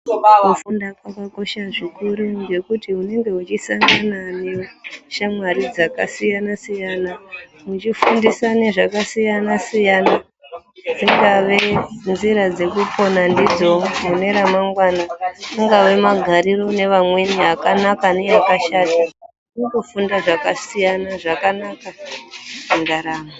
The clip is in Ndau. Kufunda kwakakosha zvikuru ngekuti unenge wechisangana neshamwari dzakasiyana siyana muchifundisana zvakasiyana siyana dzingave nzira dzekupona ndidzo mune ramangwana angave magariro nevamweni akanaka neakashata unotofunda zvakasiyana zvakanaka mundaramo.